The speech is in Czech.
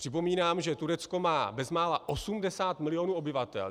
Připomínám, že Turecko má bezmála 80 milionů obyvatel.